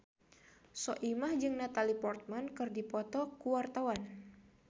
Soimah jeung Natalie Portman keur dipoto ku wartawan